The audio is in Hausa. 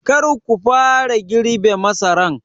Kar ku fara girbe masaran!